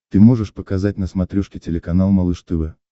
ты можешь показать на смотрешке телеканал малыш тв